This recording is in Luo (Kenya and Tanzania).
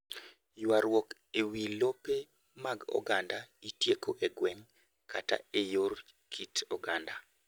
Ywarruok e wi lope mag oganda itieko e gweng’ kata e yor kit oganda.